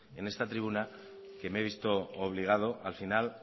en esta tribuna que me he visto obligado al final